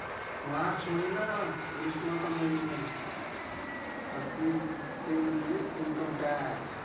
मार्च महिना ग्रीष्मा चा महिना अगदी ते म्हणजे इनकम टॅक्स.